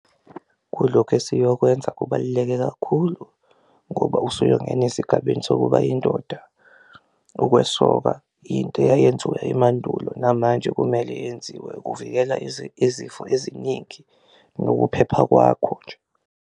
Kulokhu esiyokwenza kubaluleke kakhulu ngoba usuyongena esigabeni sokuba yindoda, ukwesoka yinto eyayenziwa emandulo namanje kumele yenziwe kuvikela izifo eziningi nokuphepha kwakho .